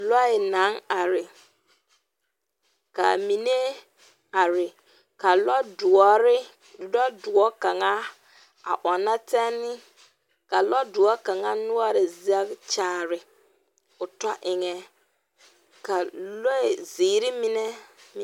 Lɔɛ naŋ are ka mine are ka lɔdoɔre lɔdoɔ kaŋa a ɔnnɛ tɛnne ka lɔdoɔre noɔre kaŋa zɛge kyaare o tɔ eŋɛ ka lɔzeere mine meŋ.